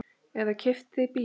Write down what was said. Eða keypti bíl.